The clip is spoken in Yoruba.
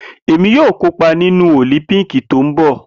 Emi yoo kopa ninu Olimpiiki ti nbọ